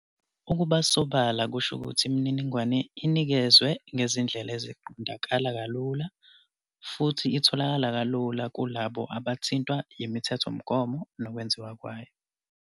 Ukuba sobala kusho ukuthi imininingwane inikezwe ngezindlela eziqondakala kalula futhi itholakale kalula kulabo abathintwa yimithethomgomo nokwenziwayo.